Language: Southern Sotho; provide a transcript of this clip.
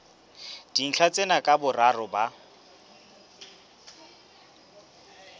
dintlha tsena ka boraro ba